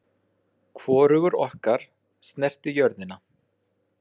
Hvorugur okkar snerti jörðina.